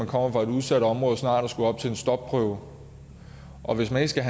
kommer fra et udsat område snart at skulle op til en stopprøve og hvis man ikke